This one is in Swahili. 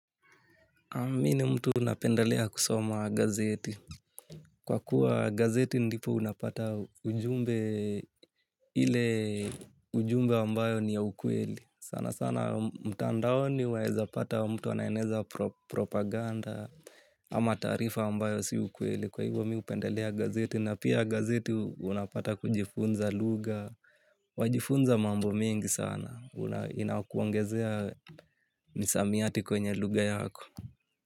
Uhm mi ni mtu napendelea kusoma gazeti. Kwa kuwa gazeti ndipo unapata ujumbe ile ujumbe ambayo ni ya ukweli sana sana mtandaoni waezapata mtu anaeneza pro propaganda ama taarifa ambayo si ukweli. Kwa hivyo mi upendelea gazeti na pia gazeti unapata kujifunza lugha. Wajifunza mambo mingi sana. Inakuongezea misamiati kwenye lugha yako.